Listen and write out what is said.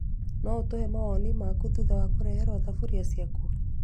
No ũtuhe mawoni maku thutha wa kũreherwo thaburia ciaku?